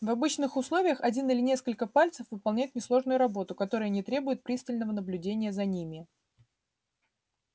в обычных условиях один или несколько пальцев выполняют несложную работу которая не требует пристального наблюдения за ними